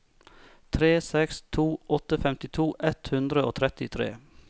tre seks to åtte femtito ett hundre og trettitre